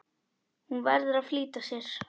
Hún verður að flýta sér.